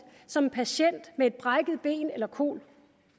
som en patient med et brækket ben eller kol